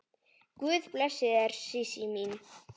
Guð blessi þig Sísí mín.